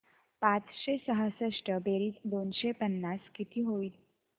पाचशे सहासष्ट बेरीज दोनशे पन्नास किती होईल